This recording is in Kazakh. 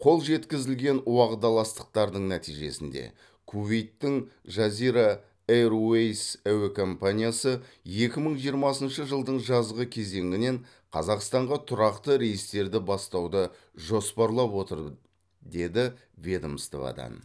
қол жеткізілген уағдаластықтардың нәтижесінде кувейттің жазира эйрвэйс әуе компаниясы екі мың жиырмасыншы жылдың жазғы кезеңінен қазақстанға тұрақты рейстерді бастауды жоспарлап отыр деді ведомстводан